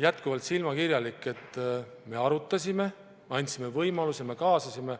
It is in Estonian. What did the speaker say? jätkuvalt silmakirjalik: me arutasime, andsime võimaluse, me kaasasime.